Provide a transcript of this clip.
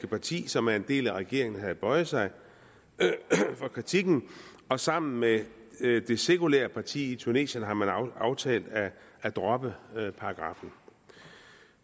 parti som er en del af regeringen har bøjet sig for kritikken og sammen med det sekulære parti i tunesien har man aftalt at droppe paragraffen